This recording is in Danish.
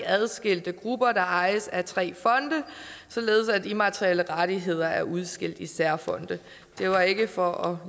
adskilte grupper der ejes af tre fonde således at immaterielle rettigheder er udskilt i særfonde det var ikke for